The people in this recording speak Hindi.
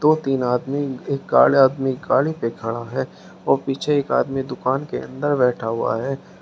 दो तीन आदमी उनके आदमी गाड़ी पे खड़ा है और पीछे एक आदमी दुकान के अंदर बैठा हुआ है।